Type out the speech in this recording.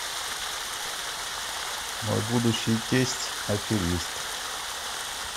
мой будущий тесть аферист